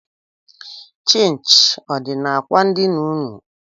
Chịnchị ọ dị n'akwa ndina ụnụ?